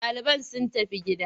Ɗaliban sun tafi gida.